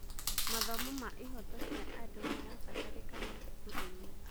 Mathomo ma ihooto cia andũ marabataranĩka thukuru-inĩ.